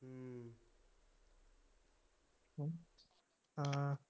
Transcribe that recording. ਹਾਂ